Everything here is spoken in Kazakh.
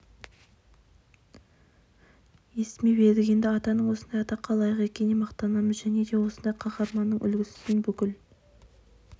естімеп едік енді атаның осындай атаққа лайық екеніне мақтанамыз және де осындай қаһармандықтың үлгісін бүкіл